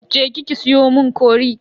Je ki ki siyo mun cori.